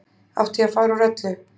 Átti ég að fara úr öllu?